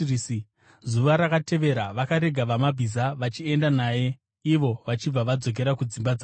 Zuva rakatevera, vakarega vamabhiza vachienda naye, ivo vachibva vadzokera kudzimba dzavarwi.